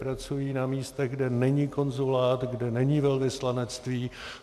Pracují na místech, kde není konzulát, kde není velvyslanectví.